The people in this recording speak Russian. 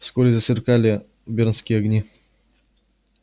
вскоре засверкали бердские огни